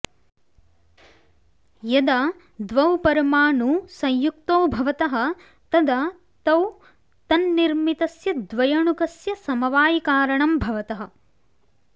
यदा द्वौ परमाणू संयुक्तौ भवतः तदा तौ तन्निर्मितस्य द्वयणुकस्य समवायिकारणं भवतः